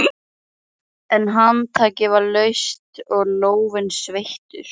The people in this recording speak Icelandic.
Palli og Pína veltast um af hlátri.